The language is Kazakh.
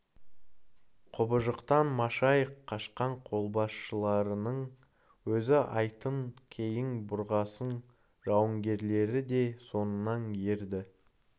құбыжықтан машайық қашқан қолбасшыларының өзі атын кейін бұрғасын жауынгерлері де соңынан ерді